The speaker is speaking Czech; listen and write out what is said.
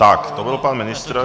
Tak to byl pan ministr.